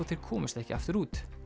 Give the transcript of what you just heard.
þeir komust ekki aftur út